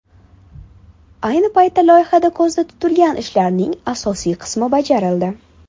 Ayni paytda loyihada ko‘zda tutilgan ishlarning asosiy qismi bajarildi.